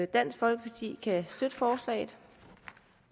dansk folkeparti kan støtte forslaget